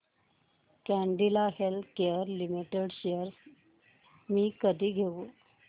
Cadila healthcare limited shares मी कधी घेऊ